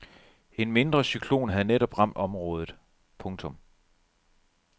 En mindre cyklon havde netop ramt området. punktum